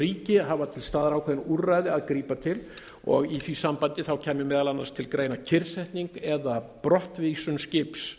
ríki hafa til staðar ákveðin úrræði að grípa til og í því sambandi kæmi meðal annars til greina kyrrsetning eða brottvísun skips